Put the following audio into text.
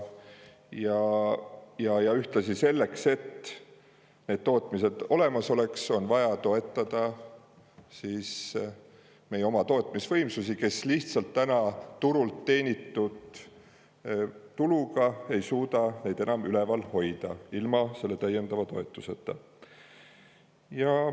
Selleks, et need tootmised oleksid olemas, on ühtlasi vaja toetada meie oma tootmis, kes lihtsalt turul teenitud tuluga ei suuda enam võimsusi üleval hoida ilma täiendava toetuseta.